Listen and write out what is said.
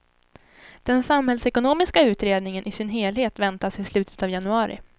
Den samhällsekonomiska utredningen i sin helhet väntas i slutet av januari.